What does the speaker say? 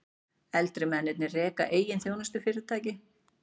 Eldri mennirnir reka eigin þjónustufyrirtæki